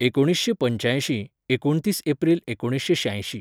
एकूणीसशें पंचायशीं, एकूणतीस एप्रील एकूणसशें श्यांयशीं